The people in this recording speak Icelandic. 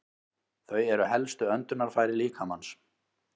Þau eru helstu öndunarfæri líkamans.